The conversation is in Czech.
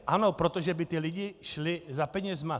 Ano, protože by ty lidi šli za penězi.